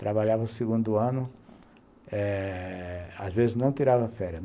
Trabalhava o segundo ano eh, às vezes não tirava férias.